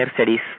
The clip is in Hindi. higher studies